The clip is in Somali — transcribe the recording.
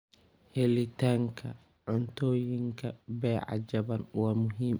Helitaanka cuntooyinka beeca jaban waa muhiim.